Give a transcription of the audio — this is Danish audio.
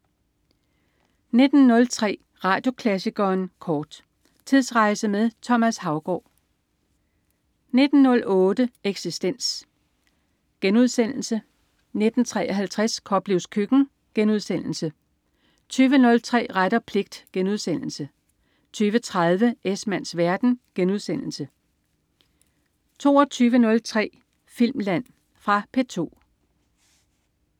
19.03 Radioklassikeren kort. Tidsrejse med Thomas Haugaard 19.08 Eksistens* 19.53 Koplevs Køkken* 20.03 Ret og pligt* 20.30 Esmanns verden* 22.03 Filmland. Fra P2